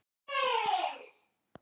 Lilla var eins og moldvarpa.